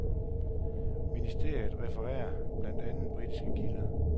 Ministeriet refererer blandt andre britiske kilder.